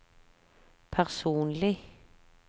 personlig